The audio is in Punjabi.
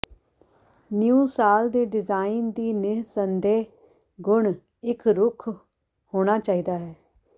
ਨਿਊ ਸਾਲ ਦੇ ਡਿਜ਼ਾਇਨ ਦੀ ਨਿਰਸੰਦੇਹ ਗੁਣ ਇੱਕ ਰੁੱਖ ਹੋਣਾ ਚਾਹੀਦਾ ਹੈ